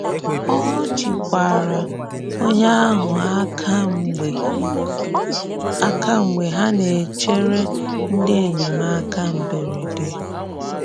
Ọ jìkwàrà onye ahụ̀ aka mgbe aka mgbe ha na-echerè ndị enyemáka mberede.